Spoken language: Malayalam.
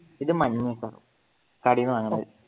ഇത് മഞ്ഞ ആയിരിക്കും കാടെന്നു വാങ്ങുന്നത്.